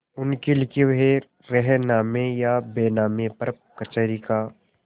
उनके लिखे हुए रेहननामे या बैनामे पर कचहरी का